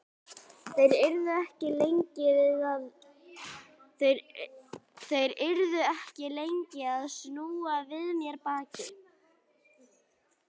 Þeir yrðu ekki lengi að snúa við mér baki.